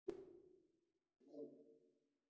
Margir heimspekingar fylgdu í kjölfar Þalesar.